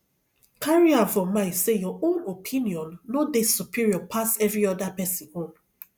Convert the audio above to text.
carry am for mind sey your own opinion no dey superior pass every oda person own